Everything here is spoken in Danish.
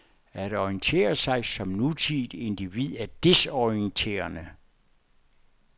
At orientere sig som nutidigt individ er desorienterende.